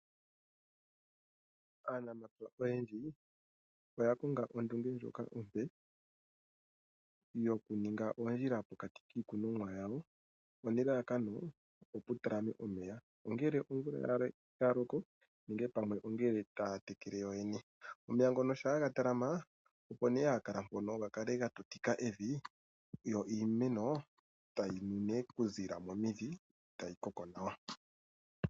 Aanamapya oyendji oya konga ondunge ndjoka ompe yokuninga oondjila mokati kiikunomwa yawo nelalakano opo mu talame omeya, ongele ongele omvula ya loko nenge pamwe ongele taya tekele yoyene. Omeya ngono shampa ga talama, opo nduno haga kala moka ga tutika evi, yo iimeno tayi nu ndundo okuziilila momidhi, e tayi koko nawa.